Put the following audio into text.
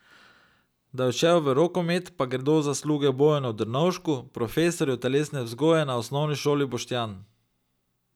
Da je odšel v rokomet, pa gredo zasluge Bojanu Drnovšku, profesorju telesne vzgoje na Osnovni šoli Boštanj.